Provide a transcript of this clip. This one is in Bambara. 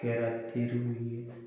Kɛra teriw ye